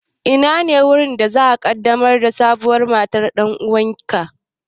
Inane wurin da za'a ƙaddamar da sabuwar matar ɗan'uwanka?